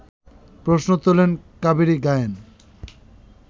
প্রশ্ন তোলেন কাবেরী গায়েন